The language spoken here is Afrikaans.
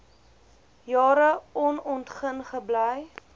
jare onontgin gebly